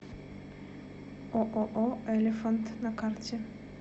ооо элифант на карте